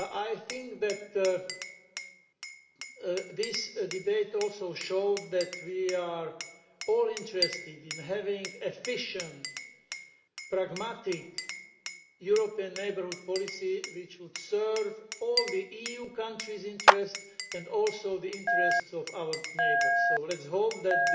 I think this debate also showed that we are all interested in having an efficient, pragmatic European neighbourhood policy which would serve all the EU countries' interests and also the interests of our neighbours. So let us hope that